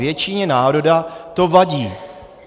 Většině národa to vadí.